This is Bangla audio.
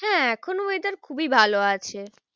হ্যাঁ এখন weather খুবই ভালো আছে।